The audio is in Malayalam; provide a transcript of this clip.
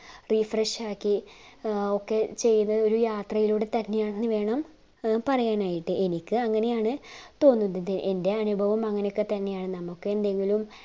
refresh ആക്കി ഒക്കെ ചയ്ത ഒരു യാത്രയിലൂടെ വേണം പറയാനായിട്ട് എനിക്ക് അങ്ങനെയാണ് തോന്നുന്നത് എൻറെ അനുഭവം അങ്ങനെ ഒക്കെ തന്നെയാണ്‌ നമ്മുക് എന്തെങ്കിലും